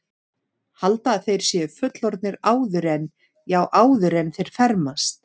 Halda að þeir séu fullorðnir áður en, já, áður en þeir fermast.